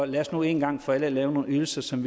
lad os nu en gang for alle lave nogle ydelser som